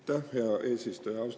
Aitäh, hea eesistuja!